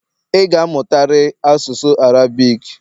ị ga-amụtari asụsụ Arabic!